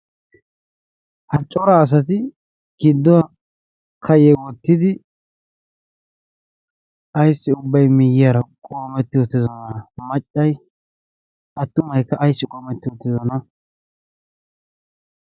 haccora asati kidduwaa kayyewoottidi ayssi ubbay miiyyiyaara qoometti uttidosona. maccay attuma ekka ayssi qoometti uttidosona.